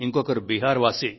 మరొకరు బీహార్ వాసి